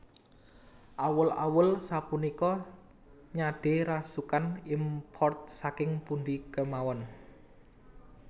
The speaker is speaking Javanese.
Awul awul sapunika nyade rasukan import saking pundi kemawon